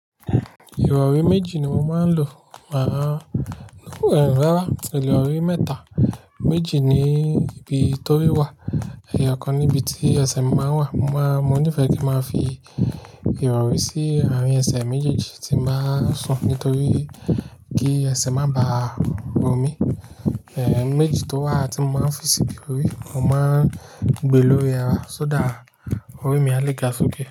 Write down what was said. Ìrọ̀rí méjì ni mo máa ń lò, màá nu rẹ̀ rárá, ìrọ̀rí mẹ́ta. Méjì ni ibi tó rí wà, ẹ̀yà kan níbi tí ẹsẹ̀ mi máa ń wà. Mo máa, mo ní ìfẹ́ kí ma fi ìrọ̀rí sí àárín ẹsẹ̀ méjèèjì tí báa sùn nítorí kí ẹsẹ̀ má ba bo mí. Ẹ̀n méjì tó wà tí mo máa ń fi sí ibi tó rí, mo máa ń gbé lórí ẹra so dá ọ̀rí mi á le ga fún gbé.